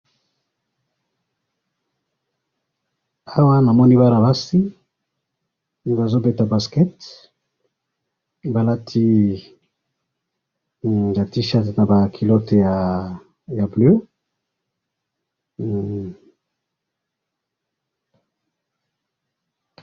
awa namoni bana basi bazo beta basket balati ba t -shirt na ba culloteya bleu